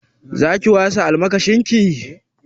Za ki wasa almakashin ki?